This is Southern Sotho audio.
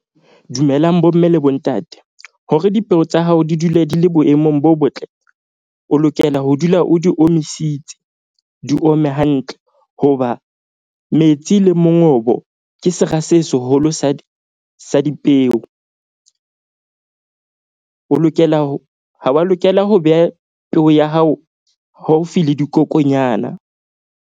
Dumelang bomme le bontate. Hore dipeo tsa hao di dule di le boemong bo botle. O lokela ho dula o di omisitse. Di ome hantle hoba metsi le mongobo ke sera se seholo sa di sa dipeo. O lokela ho ha wa lokela ho beha peo ya hao haufi le dikokonyana.